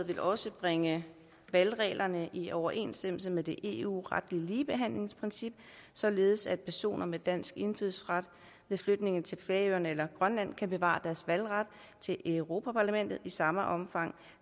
vil også bringe valgreglerne i overensstemmelse med det eu retlige ligebehandlingsprincip således at personer med dansk indfødsret ved flytning til færøerne eller grønland kan bevare deres valgret til europa parlamentet i samme omfang